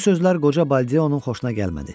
Bu sözlər qoca Baldeonun xoşuna gəlmədi.